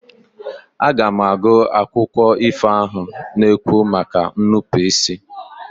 Aga m agụ akụkọ ifo ahụ na-ekwu maka nnupụisi.